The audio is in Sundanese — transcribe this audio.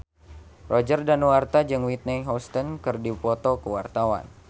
Roger Danuarta jeung Whitney Houston keur dipoto ku wartawan